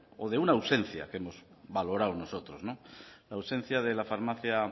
de una ausencia que hemos valorado nosotros la ausencia de la farmacia